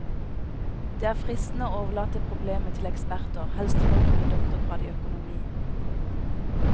Det er fristende å overlate problemet til eksperter, helst folk med doktorgrad i økonomi.